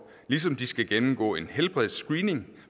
ligesom de skal gennemgå en helbredsscreening